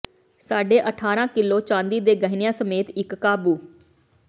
ਸਾਢੇ ਅਠਾਰਾਂ ਕਿੱਲੋ ਚਾਂਦੀ ਦੇ ਗਹਿਣਿਆਂ ਸਮੇਤ ਇਕ ਕਾਬੂ